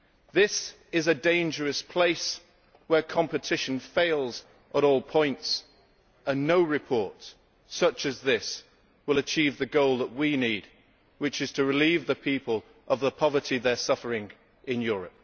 This is a dangerous place where competition fails at all points, and no report such as this will achieve the goal that we need, which is to relieve the people of the poverty they are suffering in Europe.